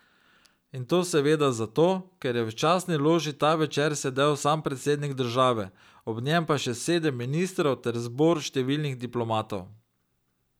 In to seveda zato, ker je v častni loži ta večer sedel sam predsednik države, ob njem pa še sedem ministrov ter zbor številnih diplomatov.